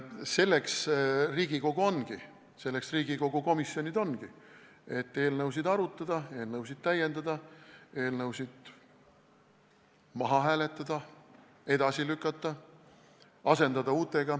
Selleks Riigikogu ongi, selleks Riigikogu komisjonid ongi, et eelnõusid arutada, eelnõusid täiendada, eelnõusid maha hääletada, edasi lükata, uutega asendada.